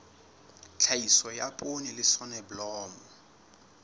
tlhahiso ya poone le soneblomo